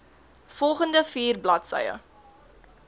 volgende vier bladsye